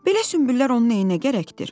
Belə sümbüllər onun nəyinə gərəkdir?